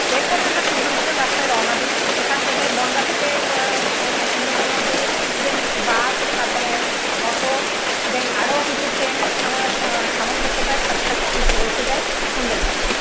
এরপরে আমরা সুন্দরবনের রাস্তায় রওনা দিই. এখান থেকে বনগাঁ থেকে আহ সুন্দরবন অব্দি দেন বাস, তারপরে অটো, দেন আরো কিছু ট্রেনের সামাসামঞ্জস্যতার সাথে সাথে আমরা পৌঁছে যাই সুন্দরবন